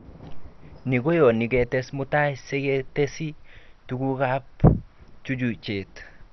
Ni koyoni ketes mutai siketesi tugukab chuchuchet